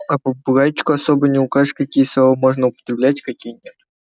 а попугайчику особо не укажешь какие слова можно употреблять а какие нет